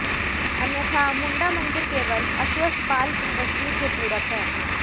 अन्यथा मुंडा मंदिर केवल अस्वस्थ बाल की तस्वीर के पूरक हैं